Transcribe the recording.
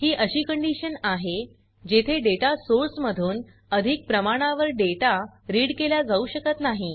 ही अशी कंडीशन आहे जेथे डेटा सोर्स मधून अधिक प्रमाणावर डेटा रीड केल्या जाऊ शकत नाही